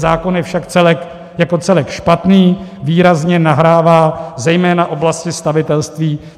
Zákon je však jako celek špatný, výrazně nahrává zejména oblasti stavitelství.